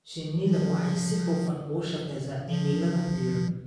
Shinnidu waxay si hufan ugu shaqeysaa cimilada diiran.